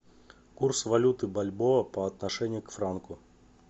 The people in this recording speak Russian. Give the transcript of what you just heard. курс валюты бальбоа по отношению к франку